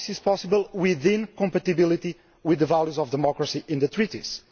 All this is possible, within compatibility with the values of democracy outlined in the Treaties.